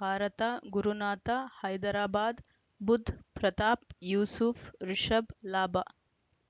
ಭಾರತ ಗುರುನಾಥ ಹೈದರಾಬಾದ್ ಬುಧ್ ಪ್ರತಾಪ್ ಯೂಸುಫ್ ರಿಷಬ್ ಲಾಭ